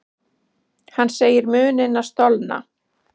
Hann segir munina stolna.